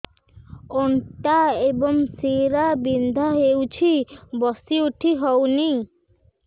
ଅଣ୍ଟା ଏବଂ ଶୀରା ବିନ୍ଧା ହେଉଛି ବସି ଉଠି ହଉନି